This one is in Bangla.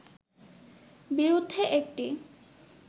বিরুদ্ধে একটি